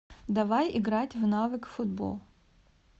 давай играть в навык футбол